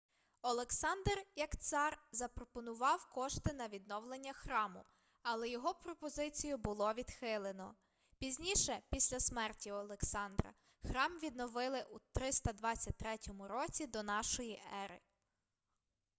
олександр як цар запропонував кошти на відновлення храму але його пропозицію було відхилено пізніше після смерті олександра храм відновили у 323 році до нашої ери